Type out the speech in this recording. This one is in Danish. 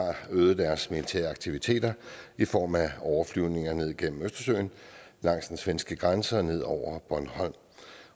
øget deres militære aktiviteter i form af overflyvninger ned gennem østersøen langs den svenske grænse og ned over bornholm